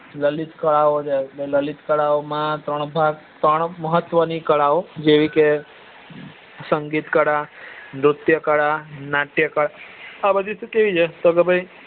લલિત કળાઓ છે લલિત કળાઓ માં ત્રણ ભાગ ત્રણ મહત્વ ની કલાઓ જેવી કે સંગીત કળા નુત્ય કળા નાટ્ય કળા આ બધું તો શું છે કે